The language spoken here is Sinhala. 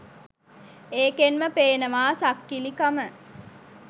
ඒකෙන් ම පේනවා සක්කිලි කම